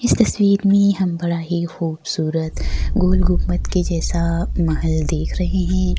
इस तस्वीर में हम बड़ा ही खूबसूरत गोल गुंबद के जैसा महल देख रहे है।